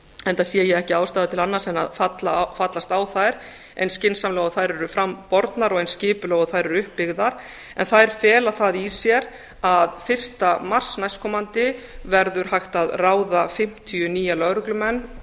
enda sé ég ekki ástæðu til annars en að fallast á þær eins skynsamlega og þær eru fram bornar og eins skipulega og þær eru uppbyggðar en þær fela það í sér að fyrsta mars næstkomandi verður hægt að ráða fimmtíu nýja lögreglumenn